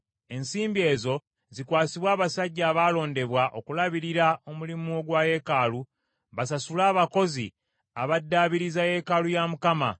Ensimbi ezo zikwasibwe abasajja abaalondebwa okulabirira omulimu ogwa yeekaalu basasule abakozi abaddaabiriza yeekaalu ya Mukama ,